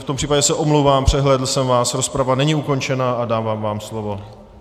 V tom případě se omlouvám, přehlédl jsem vás, rozprava není ukončena a dávám vám slovo.